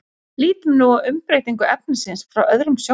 lítum nú á umbreytingu efnisins frá öðrum sjónarhóli